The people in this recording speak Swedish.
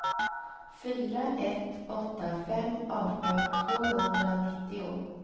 fyra ett åtta fem arton tvåhundranittio